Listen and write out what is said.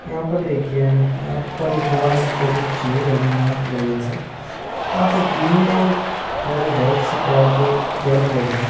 यहाँ पर देखिए यहाँ पर एक मोबाइल से फोटो खींची है रेडमी नोट इलेवेन से यहाँ पर ग्रीन और थोड़े रेड से कलर के पेड़ पौधे हैं।